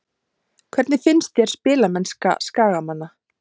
Hvernig finnst þér spilamennska Skagamanna?